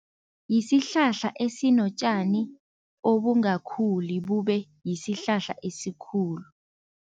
Yisihlahla esinotjani obungakhuli, bube yisihlahla esikhulu.